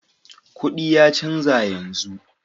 Kudi ya canza yanzu.